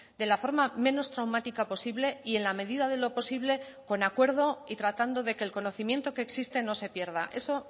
de la forma menos traumática posible y en la medida de lo posible con acuerdo y tratando de que el conocimiento que existe no se pierda eso